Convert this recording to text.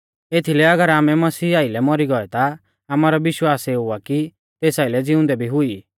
एथीलै अगर आमै मसीह आइलै मौरी गौऐ ता आमारौ विश्वास एऊ आ कि तेस आइलै ज़िउंदै भी हुई ई